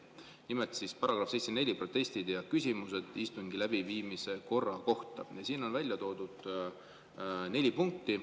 Nimelt §-s 74 "Protestid ja küsimused istungi läbiviimise korra kohta" on välja toodud neli punkti.